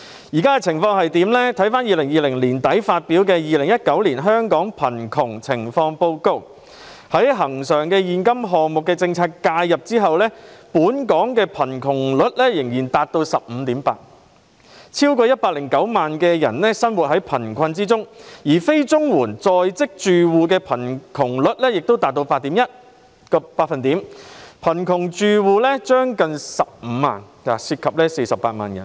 根據在2020年年底發表的《2019年香港貧窮情況報告》，在恆常現金政策介入後，本港貧窮率仍達 15.8%， 超過109萬人生活在貧困之中，而非綜合社會保障援助在職住戶的貧窮率則達 8.1%， 貧窮住戶接近15萬個，涉及48萬人。